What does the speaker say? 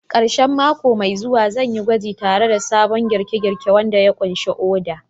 Karshen mako mai zuwa, zan yi gwaji tare da sabon girke-girke wanda ya ƙunshi Uda.